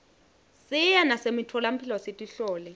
siye nasemitfolamphilo sitihlole